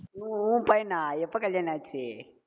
உ~ உன் பையனா? எப்ப கல்யாண ஆச்சு